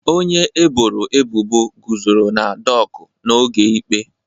Onye eboro ebubo guzoro na doku n'oge ikpe.